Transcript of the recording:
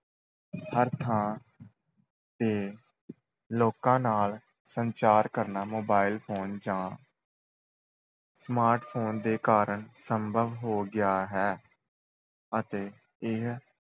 ਹਰ ਥਾਂ ਤੇ ਲੋਕਾਂ ਨਾਲ ਸੰਚਾਰ ਕਰਨਾ mobile phone ਜਾਂ smart phone ਦੇ ਕਾਰਨ ਸੰਭਵ ਹੋ ਗਿਆ ਹੈ ਅਤੇ ਇਹ